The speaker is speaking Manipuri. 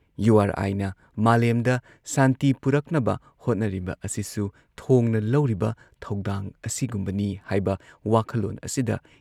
ꯌꯨ ꯑꯥꯔ ꯑꯥꯏꯅ ꯃꯥꯂꯦꯝꯗ ꯁꯥꯟꯇꯤ ꯄꯨꯔꯛꯅꯕ ꯍꯣꯠꯅꯔꯤꯕ ꯑꯁꯤꯁꯨ ꯊꯣꯡꯅ ꯂꯧꯔꯤꯕ ꯊꯧꯗꯥꯡ ꯑꯁꯤꯒꯨꯝꯕꯅꯤ ꯍꯥꯏꯕ ꯋꯥꯈꯜꯂꯣꯟ ꯑꯁꯤꯗ